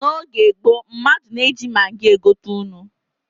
N'oge gboo, mmadụ na-eji magị egote nnu.